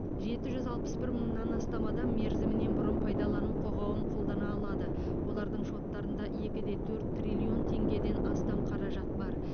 жеті жүз алпыс бір мыңнан астам адам мерзімінен бұрын пайдалану құқығын қолдана алады олардың шоттарында екі де төрт триллион теңгеден астам қаражат бар